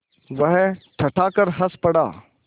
वह ठठाकर हँस पड़ा